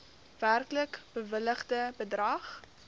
werklik bewilligde bedrag